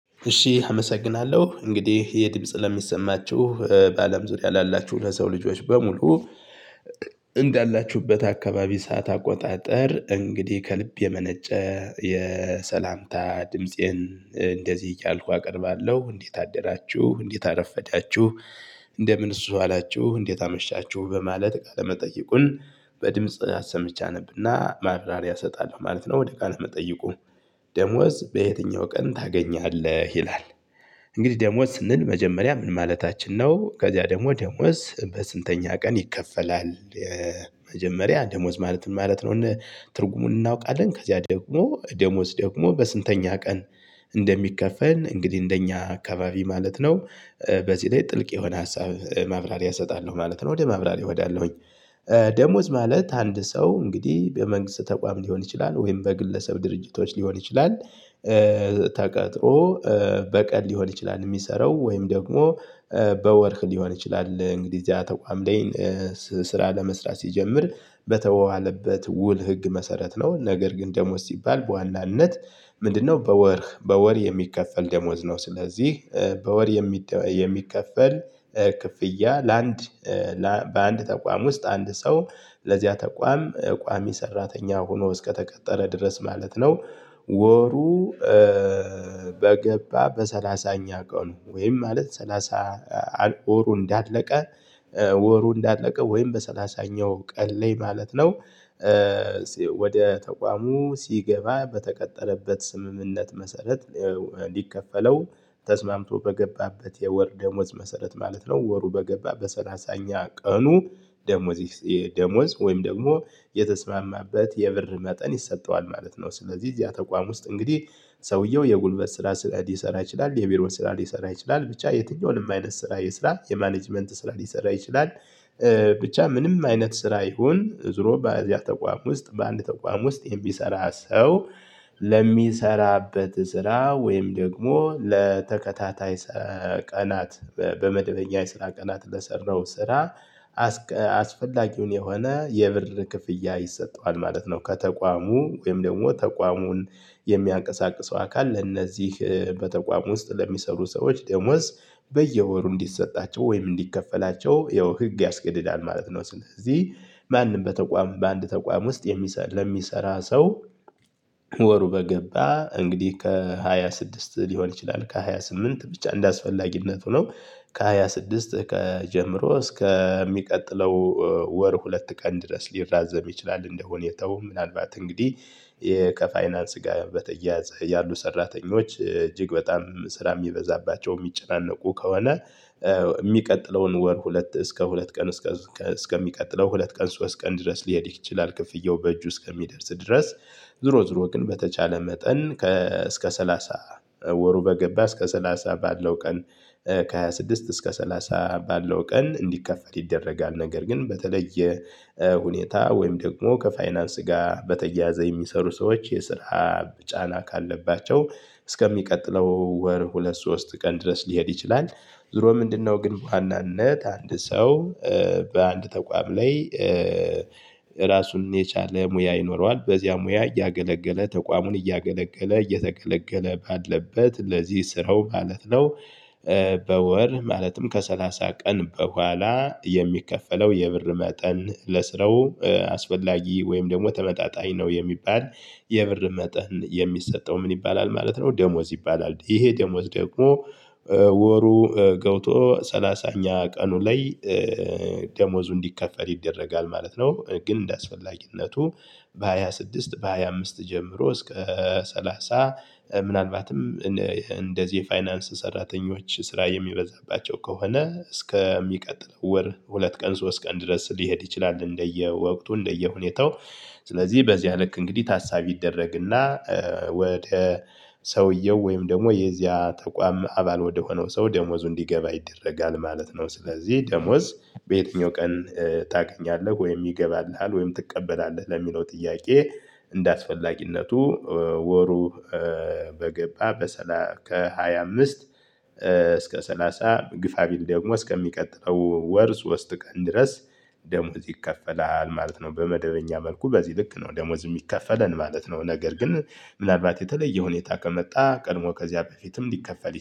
እሺ አመሰግናለሁ እንግዲህ የድምጽ ለሚሰማችሁ በአለም ዙሪያ ላላችሁ ለሰው ልጆች በሙሉ። እንዳላችሁበት አካባቢ ሰዓት አቆጣጠር እንግዲህ ከልብ የመነጨ የሰላምታ ድምፄን እንደዚህ እያልኩ አቀርባለሁ እንዴት አደራችሁ እንዴት አረፈዳችሁ። እንደምንስ ዋላችሁ እንዴት አመሻችሁ። በማለት ቃለ መጠይቁን በድምጽ አሰምቼ አነብና ማብራሪያ እሰጣለሁ ማለት ነው። ወደ ቃለ መጠይቁ? ደሞዝ በየትኛው ቀን ታገኛለህ ይላል። እንግዲህ ደሞዝ ስንል መጀመሪያ ምን ማለታችን ነው? ከዚያ ደግሞ ደሞዝ በስንተኛ ቀን ይከፈላል? መጀመሪያ ደሞዝ ማለት ማለት ነው ትርጉሙን እናውቃለን። ከዚያ ደግሞ ደሞዝ ደግሞ በስንተኛ ቀን እንደሚከፈል እንግዲህ እንደኛ አካባቢ ማለት ነው። በዚህ ላይ ጥልቅ የሆነ ሀሳብ ማብራሪያ እሰጣለሁ ማለት ነው። ወደ ማብራሪያ እሄዳለሁኝ። ደሞዝ ማለት አንድ ሰው እንግዲህ በመንግስት ተቋም ሊሆን ይችላል ወይም በግለሰብ ድርጅቶች ሊሆን ይችላል። ተቀጥሮ በቀል ሊሆን ይችላል እሚሰራው ወይም ደግሞ በወር ሊሆን ይችላል እንግዲህ እዚያ ተቋም ላይ። ስራ ለመስራት ሲጀምር በተዋዋለበት ውል ህግ መሰረት ነው። ነገር ግን ደሞዝ ሲባል በዋናነት ምንድነው በወር በወር የሚከፈል ደሞዝ ነው? ስለዚህ በወር የሚከፈል ክፍያ ለአንድ በአንድ ተቋም ውስጥ አንድ ሰው ለዚያ ተቋም ቋሚ ሰራተኛ ሁኖ እስከተቀጠረ ድረስ ማለት ነው። ወሩ በገባ በሰላሳኛ ቀኑ ወይም ማለት ሰላሳ አልቆ ወሩ እንዳለቀ ወሩ እንዳለቀ ወይም በሰላሳኛው ቀን ላይ ማለት ነው። ወደ ተቋሙ ሲገባ በተቀጠረበት ስምምነት መሰረት ሊከፈለው ተስማምቶ በገባበት የወር ደሞዝ መሰረት ማለት ነው። ወሩ በገባ በሰላሳኛ ቀኑ። ደሞዝ ወይም ደግሞ የተስማማበት የብር መጠን ይሰጠዋል ማለት ነው። ስለዚህ እዚያ ተቋም ውስጥ እንግዲህ ሰውየው የጉልበት ስራ ሊሰራ ይችላል የቢሮን ስራ ሊሰራ ይችላል ብቻ የትኛውንም አይነት ስራ ይስራ የማኔጅመንት ስራ ሊሰራ ይችላል። ብቻ ምንም አይነት ስራ ይሁን ዞሮ በእዚያ ተቋም ውስጥ በአንድ ተቋም ውስጥ የሚሰራ ሰው። ለሚሰራበት ስራ ወይም ደግሞ ለተከታታይ ቀናት በመድበኛ የስራ ቀናት ለሰራው ስራ። አስፈላጊውን የሆነ የብር ክፍያ ይሰጠዋል ማለት ነው። ከተቋሙ ወይም ደግሞ ተቋሙን የሚያንቀሳቅሰው አካል ለእነዚህ በተቋሙ ውስጥ ለሚሰሩ ሰዎች ደሞዝ በየወሩ እንዲሰጣቸው ወይም እንዲከፈላቸው ያው ህግ ያስገድዳል ማለት ነው። ስለዚህ ማንም በተቋም በአንድ ተቋም ውስጥ ለሚሰራ ሰው ወሩ በገባ እንግዲህ ከሃያ ስድስት ሊሆን ይችላል ከሃያ ስምንት ብቻ እንደአስፈላጊነቱ ነው። ከሃያ ስድስት ከጀምሮ እስከ የሚቀጥለው ወር ሁለት ቀን ድረስ ሊራዘም ይችላል። እንደ ሁኔታው ምናልባት እንግዲህ ከፋይናንስ ጋ በተያያዘ ያሉ ሰራተኞች እጅግ በጣም ስራ እሚበዛባቸው ሚጨናነቁ ከሆነ። እሚቀጥለውን ወር ሁለት እስከ ሁለት ቀን እስከ እስከ ሚቀጥለው ሁለት ቀን ሶስት ቀን ድረስ ሊሄድ ይችላል ክፍያው በእጁ እስከሚደርስ ድረስ። ዙሮ ዙሮ ግን በተቻለ መጠን ከ ሰላሳ ወሩ በገባ እስከ ሰላሳ ባለው ቀን። ከ ሃያ ስድስት እስከ ሰላሳ ባለው ቀን እንዲከፈል ይደረጋል። ነገር ግን በተለየ ሁኔታ ወይም ደግሞ ከፋይናንስ ጋር በተያያዘ የሚሰሩ ሰዎች የስራ ጫና ካለባቸው እስከሚቀጥለው ወር ሁለት ሶስት ቀን ድረስ ሊሄድ ይችላል። ዙሮ ምንድነው? ግን በዋናነት አንድ ሰው በአንድ ተቋም ላይ ራሱን የቻለ ሙያ ይኖረዋል በዚያ ሙያ እያገለገለ ተቋሙን እያገለገለ እየተገለገለ ባለበት ለዚህ ስራው ማለት ነው። በወር ማለትም ከሰላሳ ቀን በኋላ የሚከፈለው የብር መጠን ለስራው አስፈላጊ ወይም ደግሞ ተመጣጣኝ ነው የሚባል የብር መጠን የሚሰጠው ምን ይባላል ማለት ነው? ደሞዝ ይባላል ይሄ ደሞዝ ደግሞ። ወሩ ገውቶ ሰላሳኛ ቀኑ ላይ ደሞዙ እንዲከፈል ይደረጋል ማለት ነው። ግን እንደአስፈላጊነቱ በሃያ ስድስት በሃያ አምስት ጀምሮ እስከ ሰላሳ ምናልባትም እንደዚህ የፋይናንስ ሰራተኞች ስራ የሚበዛባቸው ከሆነ እስከሚቀጥለው ወር ሁለት ቀን ሶስት ቀን ድረስ ሊሄድ ይችላል። እንደየወቅቱ እንደየሁኔታው ስለዚህ በዚህ ልክ እንግዲህ ታሳቢ ይደረግና። ወደ ሰውየው ወይም ደግሞ የዚያ ተቋም አባል ወደሆነው ሰው ደሞዙ እንዲገባ ይደረጋል ማለት ነው። ስለዚህ ደሞዝ በየትኛው ቀን ታገኛለህ ወይም ይገባልሃል ወይም ትቀበላለህ ለሚለው ጥያቄ። እንደአስፈላጊነቱ ወሩ በገባ በሰላ ከሃያ አምስት እስከ ሰላሳ ግፋ ቢል ደግሞ እስከሚቀጥለው ወር ሶስት ቀን ድረስ ደሞዝ ይከፈላል ማለት ነው። በመደበኛ መልኩ በዚህ ልክ ነው ደሞዝ እሚከፈለን ማለት ነው። ነገር ግን ምናልባት የተለየ ሁኔታ ከመጣ ቀድሞ ከዚያ በፊትም ሊከፈል